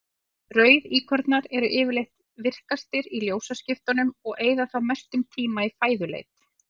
Rauðíkornar eru yfirleitt virkastir í ljósaskiptunum og eyða þá mestum tíma í fæðuleit.